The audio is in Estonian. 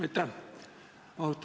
Aitäh!